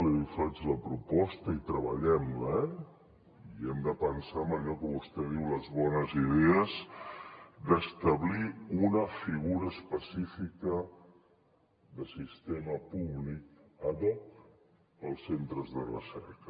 i li faig la proposta i treballem la eh i hem de pensar en allò que vostè diu les bones idees d’establir una figura específica de sistema públic ad hoc per als centres de recerca